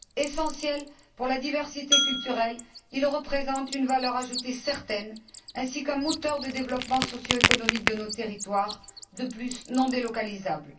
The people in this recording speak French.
Essentiel pour la diversité culturelle, il représente une valeur ajoutée certaine ainsi qu'un moteur de développement socio économique de nos territoires, qui plus est, non délocalisable.